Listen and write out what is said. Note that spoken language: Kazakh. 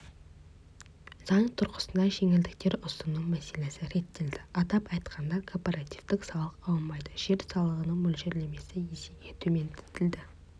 заң тұрғысында жеңілдіктер ұсыну мәселесі реттелді атап айтқанда корпоративтік салық алынбайды жер салығының мөлшерлемесі есеге төмендетілді